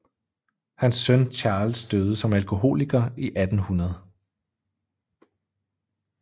Hans søn Charles døde som alkoholiker i 1800